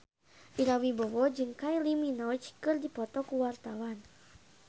Ira Wibowo jeung Kylie Minogue keur dipoto ku wartawan